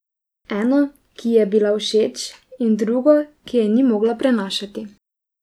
Eno, ki ji je bila všeč, in drugo, ki je ni mogla prenašati.